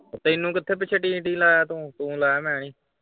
ਓਹ ਤੈਨੂੰ ਕਿਥੇ ਪਿੱਛੇ ਟੀ ਟੀ ਲਾਇਆ ਤੂੰ, ਤੂੰ ਲਾਇਆ ਮੈਂ ਨੀ।